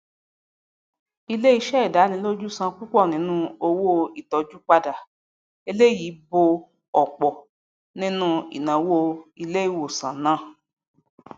iléiṣẹ ìdánilójú san púpọ ninu owó ìtọju padà eléyìí bo òpọ ninu inawo iléewosan náà